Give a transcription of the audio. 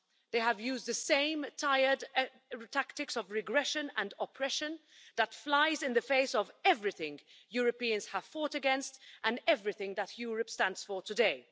They have used the same tired tactics of regression and oppression that fly in the face of everything Europeans have fought against and everything that Europe stands for today.